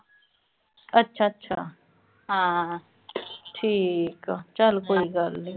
ਅੱਛਾ-ਅੱਛਾ ਠੀਕ ਆ ਚਲ ਕੋਈ ਗੱਲ ਨੀਂ।